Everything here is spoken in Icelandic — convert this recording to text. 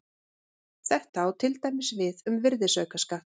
Þetta á til dæmis við um virðisaukaskatt.